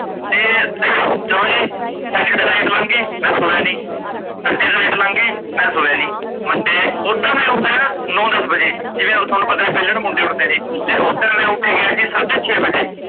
ਤੇ ਚੱਲੋ ਜੀ saturday night ਲੰਘ ਗੀ ਮੈ ਸੋਇਆ ਨੀ, sunday night ਲੰਘ ਗੀ ਮੈ ਸੋਇਆ ਨੀ, monday ਓਦਾ ਮੈ ਉੱਠਦਾ ਆ ਨੋ ਦੱਸ ਬਜੇ ਜਿਵੇਂ ਤੁਹਾਨੂੰ ਪਤਾ ਹੀ ਆ ਵੇਲੇੜ ਮੁੰਡੇ ਉਠਦੇ ਨੇ ਤੇ ਓਸ ਦਿਨ ਮੈ ਉਠ ਗਿਆ ਸੀ ਸਾਡੇ ਛੇ ਬਜੇ